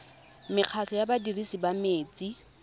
mekgatlho ya badirisi ba metsi